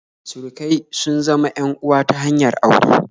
Surukai sun zama en uwa ta hanyar aure